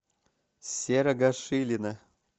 серого шилина